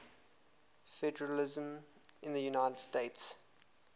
federalism in the united states